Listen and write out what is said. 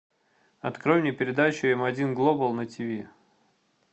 открой мне передачу м один глобал на тв